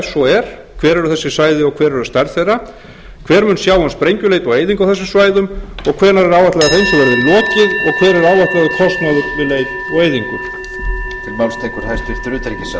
svo er hvar eru þessi svæði og hver er stærð þeirra hver mun sjá um sprengjuleit og eyðingu á þessum svæðum og hvenær er áætlað að hreinsun verði lokið hver er áætlaður kostnaður við leit og eyðingu